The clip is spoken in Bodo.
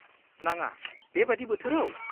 नाङा, बेबायदि बोथोराव?